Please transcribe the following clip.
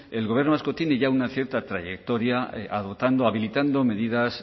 el gobierno vasco tiene ya una cierta trayectoria adoptando habilitando medidas